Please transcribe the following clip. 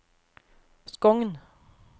Skogn